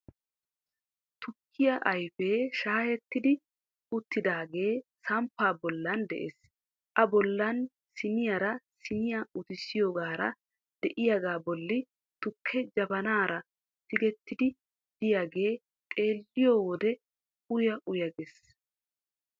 Tukkiya ayfee shaayetti uttidaagee samppaa bollan de'ees A bollan siniyara siiniya utissiyogaara de'iyagaa bolli tukkee jabanaara tigettiiddi de'iyagee xeelliyo wode uya uya gees.